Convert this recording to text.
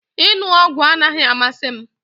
Ịṅụ ọgwụ anaghị amasị m